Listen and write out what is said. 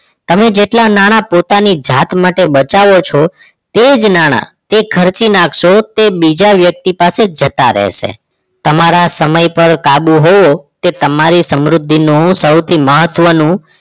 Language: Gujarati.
તમે જેટલા નાણા પોતાની જાત માટે બચાવો છો તે જ નાણા તે ખર્ચી નાખશો તે બીજા વ્યક્તિ પાસે જતા રહેશે તમારા સમય પર કાબુ હોય તે તમારી સમૃદ્ધિનું સૌથી મહત્વનું